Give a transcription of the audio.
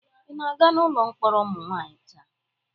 Ị na-aga n'ụlọ mkpọrọ ụmụ nwanyị taa?